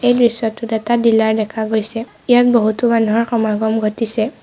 এই দৃশ্যটোত এটা ডিলাৰ দেখা গৈছে ইয়াত বহুতো মানুহৰ সমাগম ঘটিছে।